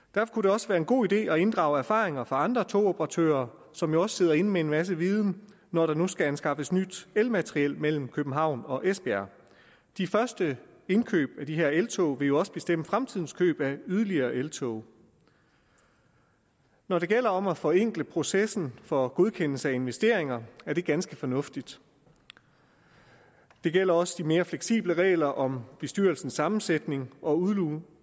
også være en god idé at inddrage erfaringer fra andre togoperatører som jo også sidder inde med en masse viden når der nu skal anskaffes nyt elmateriel mellem københavn og esbjerg de første indkøb af de her eltog vil jo også bestemme fremtidens køb af yderligere eltog når det gælder om at forenkle processen for godkendelse af investeringer er det ganske fornuftigt det gælder også de mere fleksible regler om bestyrelsens sammensætning og udlugning